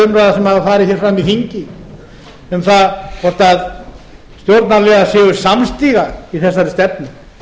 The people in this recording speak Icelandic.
hafa farið fram hér í þingi um það hvort stjórnarliðar séu samstiga í þessari stefnu